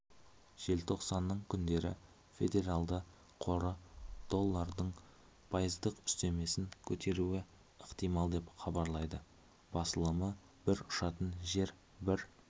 желтоқсанның күндері федералды қоры доллардың пайыздық үстемесін көтеруі ықтимал деп хабарлайды басылымы бір ұшатын және бір